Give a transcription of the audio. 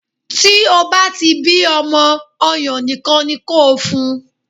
Tí o bá ti bí ọmọ, ọyàn nìkan ni kó o fun.